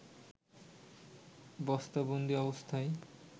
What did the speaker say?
বস্তাবন্দি অবস্থায়